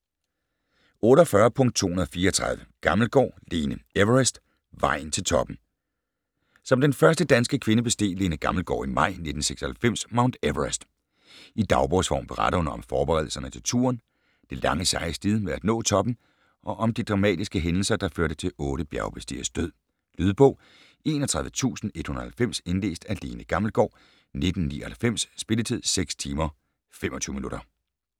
48.234 Gammelgaard, Lene: Everest - vejen til toppen Som den første danske kvinde besteg Lene Gammelgaard i maj 1996 Mount Everest. I dagbogsform beretter hun om forberedelserne til turen, det lange seje slid med at nå toppen og om de dramatiske hændelser, der førte til otte bjergbestigeres død. Lydbog 31190 Indlæst af Lene Gammelgaard, 1999. Spilletid: 6 timer, 25 minutter.